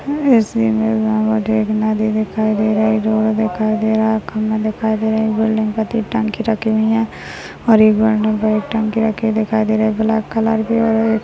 ऐसी इमेज में मुझे एक नदी दिखाई दे रही है जोर दिखाई दे रहा एक खंबा दिखाई दे रहा एक बिल्डिंग के उपर एक टंकी रखी हुई है और एक टंकी रखी दिखाई दे रहा है ब्लॅक कलर की और एक --